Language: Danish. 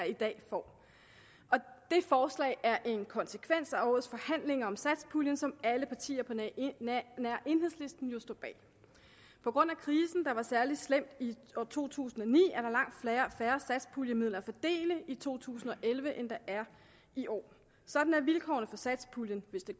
i dag får og det forslag er en konsekvens af årets forhandlinger om satspuljen som alle partier på nær enhedslisten jo står bag på grund af krisen der var særlig slem i år to tusind og ni er der langt færre satspuljemidler at fordele i to tusind og elleve end der er i år sådan er vilkårene for satspuljen hvis det